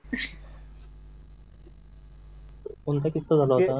कोणता किस्सा झाला होता